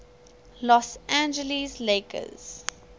los angeles lakers